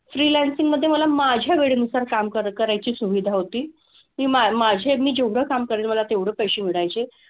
Freelancing मधे मला माझ्या वेळेनुसार काम कर करायची सुविधा होती. ती मा माझे मी जेवढं काम करेन मला तेवढं पैसे मिळायचे.